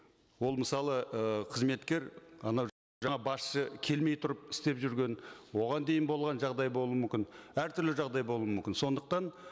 ол мысалы ы қызметкер анау басшы келмей тұрып істеп жүрген оған дейін болған жағдай болуы мүмкін әртүрлі жағдай болу мүмкін сондықтан